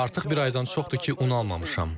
Artıq bir aydan çoxdur ki, un almamışam.